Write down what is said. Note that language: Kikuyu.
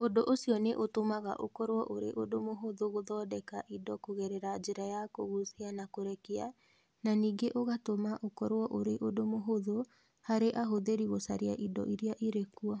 Ũndũ ũcio nĩ ũtũmaga ũkorũo ũrĩ ũndũ mũhũthũ gũthondeka indo kũgerera njĩra ya kũgucia na kũrekia, na ningĩ ũgatũma ũkorũo ũrĩ ũndũ mũhũthũ harĩ ahũthĩri gũcaria indo iria irĩ kuo.